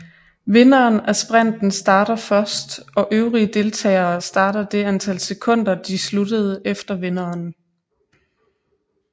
Vinderen af sprinten starter først og øvrige deltagere starter det antal sekunder de sluttede efter vinderen